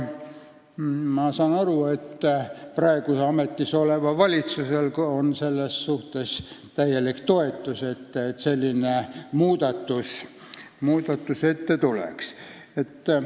Ma saan aru, et praegu ametis olev valitsus täielikult toetab seda, et selline muudatus tuleks.